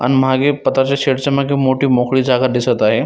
आणि मागे पताच्या शेड च्या मागे मोठी मोकळी जागा दिसत आहे.